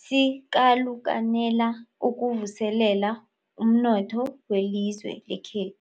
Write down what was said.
sikalukanela ukuvuselela umnotho welizwe lekhethu.